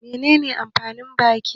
Menene amfanin baki?